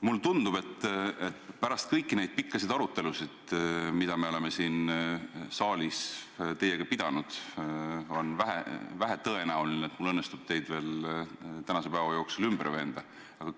Mulle tundub, et pärast kõiki neid pikkasid arutelusid, mida me oleme siin saalis teiega pidanud, on vähetõenäoline, et mul õnnestub teid veel tänase päeva jooksul ümber veenda, aga